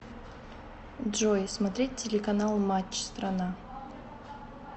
джой смотреть телеканал матч страна